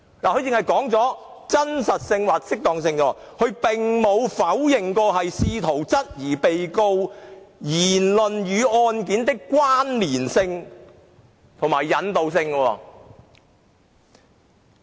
律政司只是提及"真實性或適當性"，並沒有否認試圖質疑被告人言論與案件的關連性和引導性。